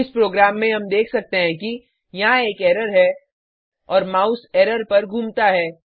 इस प्रोग्राम में हम देख सकते हैं कि यहाँ एक एरर है और माउस एरर पर घूमता है